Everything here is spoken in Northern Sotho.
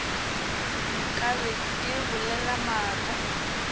nka be ke bolela maaka